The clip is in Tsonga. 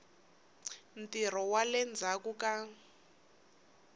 ntirho wa le ndzhaku ka